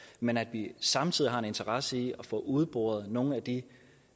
men at vi samtidig har en interesse i at få udboret nogle af de